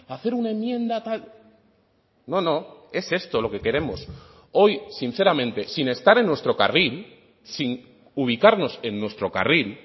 hacer una enmienda tal no no es esto lo que queremos hoy sinceramente sin estar en nuestro carril sin ubicarnos en nuestro carril